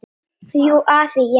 Jú, afi, ég man.